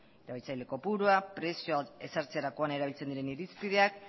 erabiltzaile kopurua prezioa ezartzerakoan erabiltzen diren irizpideak